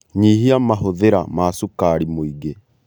Nyihia mahũthĩra ma cukari mũingĩ